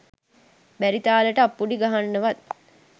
බැරි තාලෙට අප්පුඩි ගහන්නවත්